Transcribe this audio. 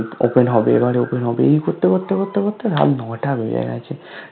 Open হবে এবারে Open হবে এই করতে করতে করতে করতে রাত নটা বেজে গেছে